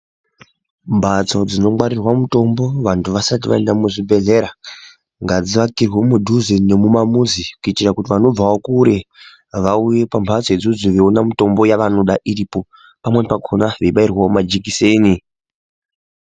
Mbatso dzinongwarirwa mitombo vanthu vasati vaenda muzvibhedhlera ngadziakirwe mudhuze nemumamuzi kuitira kuti vanobvawo kure vauye kumbatso idzodzo veiona mitombo yavanoda iripo pamweni pakona veibairwa majekiseni.